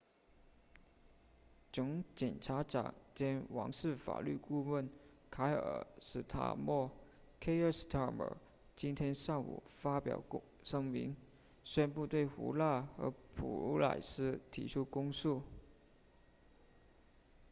总检察长兼王室法律顾问凯尔斯塔莫 kier starmer 今天上午发表声明宣布对胡纳和普莱斯提起公诉